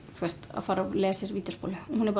að fara að leigja sér vídeóspólu hún er